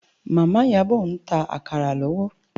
Mama Iyabo n tá àkárá lòwò